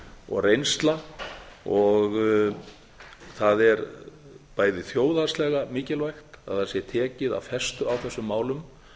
og reynsla það er bæði þjóðhagslega mikilvægt að það sé tekið af festu á þessum málum